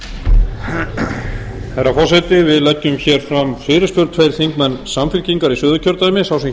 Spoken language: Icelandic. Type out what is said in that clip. herra forseti við leggjum fram fyrirspurn tveir þingmenn samfylkingar í suðurkjördæmi sá sem hér stendur